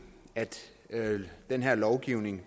at den her lovgivning